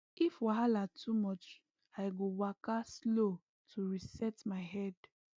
if wahala too much i go waka slow to reset my head